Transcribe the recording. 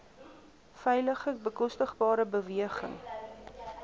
veilige bekostigbare beweging